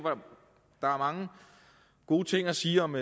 der er mange gode ting at sige om